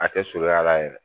A tɛ surunya la yɛrɛ